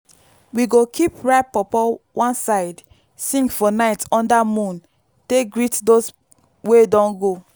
we go keep ripe pawpaw one side sing for night under moon take greet those wey don go.